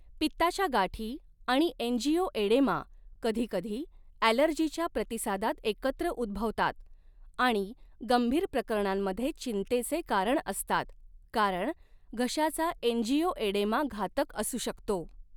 पित्ताच्या गाठी आणि एंजियोएडेमा कधीकधी ॲलर्जीच्या प्रतिसादात एकत्र उद्भवतात आणि गंभीर प्रकरणांमध्ये चिंतेचे कारण असतात, कारण घशाचा एंजियोएडेमा घातक असू शकतो.